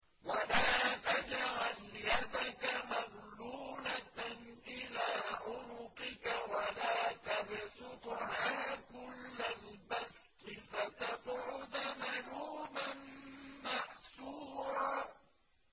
وَلَا تَجْعَلْ يَدَكَ مَغْلُولَةً إِلَىٰ عُنُقِكَ وَلَا تَبْسُطْهَا كُلَّ الْبَسْطِ فَتَقْعُدَ مَلُومًا مَّحْسُورًا